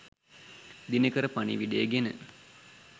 දිනකර පණිවිඩය ගෙන